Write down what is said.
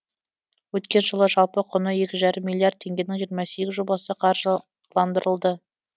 өткен жылы жалпы құны екі жарым миллиард теңгенің жиырма сегіз жобасы қаржыландырылды